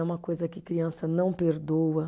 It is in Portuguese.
É uma coisa que criança não perdoa.